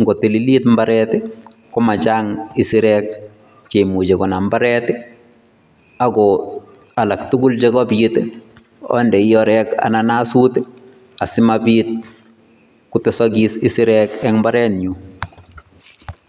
ng'otililit imbaret komachang isirek cheimuche konam imbaret ak ko alak tukul chekabiit ondoi oreek anan asut asimabiit kotesokis isirek en imbarenyun.